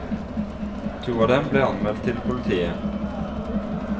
To av dem ble anmeldt til politiet.